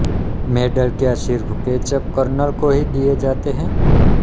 medal क्या सिर्फ केचप कर्नल को ही दिए जाते है